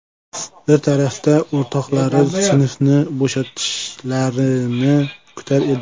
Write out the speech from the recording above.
Bir tarafdan o‘rtoqlari sinfni bo‘shatishlarini kutar edi.